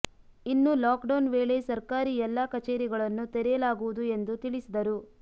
ಇನ್ನು lockdown ವೇಳೆ ಸರ್ಕಾರಿ ಎಲ್ಲಾ ಕಚೇರಿಗಳನ್ನು ತೆರೆಯಲಾಗುವುದು ಎಂದು ತಿಳಿಸಿದರು